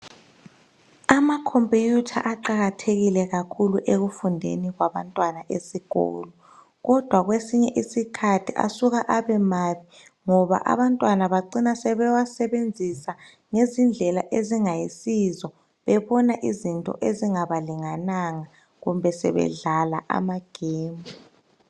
Amakhompiyutha iqakathekile khakhulu ekufundeni kwabantwana esikolo. Kodwa kwesinye isikhathi asuka abemabi ngoba abantwana bacina bewasebanzisa ngezindlela ezingayisizo sebebona izinto ezingabalingananga kumbe sebedlala ama gemu